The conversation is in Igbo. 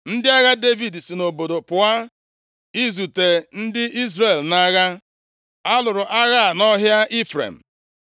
Ndị agha Devid si nʼobodo pụọ izute ndị Izrel nʼagha. Alụrụ agha a nʼọhịa Ifrem.